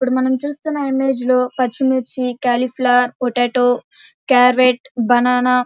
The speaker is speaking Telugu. ఇప్పుడు మనం చూస్తున్నా ఇమేజ్ లో పచ్చిమిర్చి క్యాలీఫ్లవర్ పొటాటో క్యారెట్ బనానా --